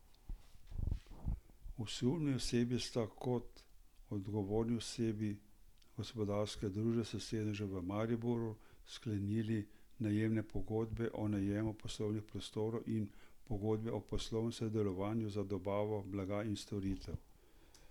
Osumljeni osebi sta kot odgovorni osebi gospodarske družbe s sedežem v Mariboru sklepali najemne pogodbe o najemu poslovnih prostorov in pogodbe o poslovnem sodelovanju za dobavo blaga in storitev.